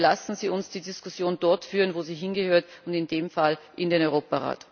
Bitte lassen Sie uns die Diskussion dort führen, wo sie hingehört, in diesem Fall im Europarat.